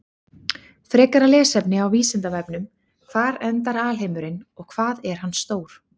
Frekara lesefni á Vísindavefnum: Hvar endar alheimurinn og hvað er hann stór?